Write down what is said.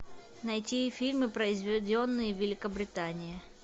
найти фильмы произведенные в великобритании